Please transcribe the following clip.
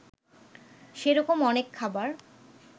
সেরকম অনেক খাবার